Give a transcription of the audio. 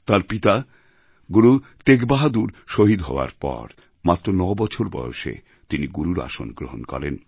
তাঁর পিতা গুরু তেগবাহাদুর শহীদ হওয়ার পর মাত্র ৯ বছর বয়সে তিনি গুরুর আসন গ্রহণ করেন